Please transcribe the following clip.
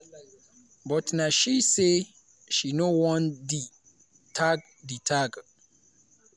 but na she say she no want di tag di tag